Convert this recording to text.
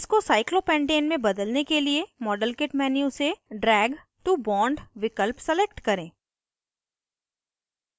इसको cyclopentane में बदलने के लिए modelkit menu से drag to bond विकल्प select करें